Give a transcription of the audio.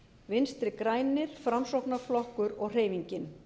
vinstri hreyfingin grænt framboð framsóknarflokkur og hreyfingin